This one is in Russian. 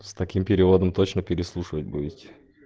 с таким переводом точно переслушивать будете